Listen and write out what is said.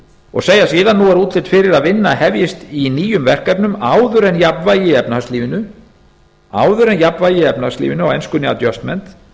og segja síðan nú er útlit fyrir að vinna hefjist á nýjum verkefnum áður en jafnvægi í efnahagslífinu á enskunni adjustment